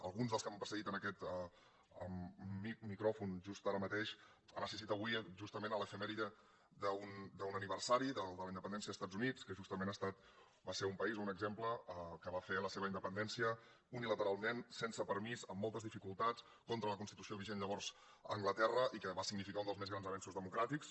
alguns dels que m’han precedit en aquest mi·cròfon just ara mateix han assistit avui justament a l’efemèride d’un aniversari del de la independència dels estats units que justament va ser un país un exemple que va fer la seva independència unilateral·ment sense permís amb moltes dificultats contra la constitució vigent llavors a anglaterra i que va signi·ficar un dels més grans avenços democràtics